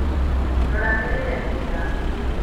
Rora mĩrĩĩre mĩega